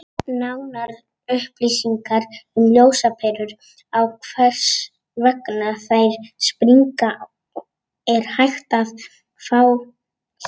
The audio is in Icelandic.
Nánari upplýsingar um ljósaperur og hvers vegna þær springa er hægt að fá hér.